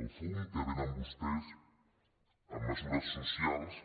el fum que venen vostès en mesures socials